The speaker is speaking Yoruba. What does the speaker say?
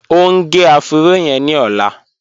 O ń gé ọ̀fùró yẹn ni ọ̀lá